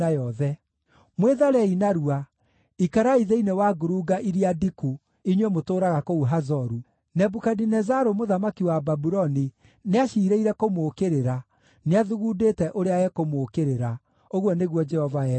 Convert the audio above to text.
“Mwĩtharei narua! Ikarai thĩinĩ wa ngurunga iria ndiku, inyuĩ mũtũũraga kũu Hazoru. Nebukadinezaru mũthamaki wa Babuloni nĩaciirĩire kũmũũkĩrĩra; nĩathugundĩte ũrĩa ekũmũũkĩrĩra,” ũguo nĩguo Jehova ekuuga.